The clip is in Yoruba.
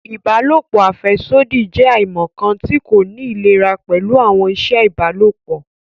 Ìbálòpọ̀ afẹsodi jẹ aimọkan ti ko ni ilera pẹlu awọn iṣẹ ìbálòpọ̀